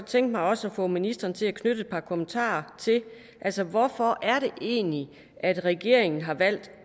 tænke mig også at få ministeren til at knytte et par kommentarer til altså hvorfor er det egentlig at regeringen har valgt